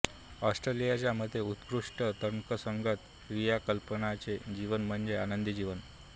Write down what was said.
ऍरिस्टॉटलच्या मते उत्कृष्ट तर्कसंगत क्रियाकलापांचे जीवन म्हणजे आनंदी जीवन